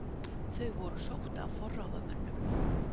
Þau voru sótt af forráðamönnum